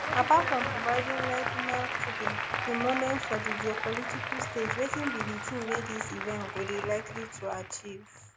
apart from providing vladimir putin im moment for di geopolitical stage wetin be di tin wey dis event go dey likely to achieve